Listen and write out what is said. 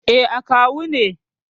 Eh, akawu ne.